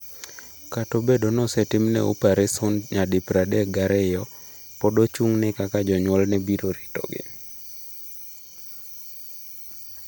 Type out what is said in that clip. Kata obedo ni osetimne opereson nyadi pradek gi ariyo, pod ochung’ne kaka jonyuolne biro ritogi.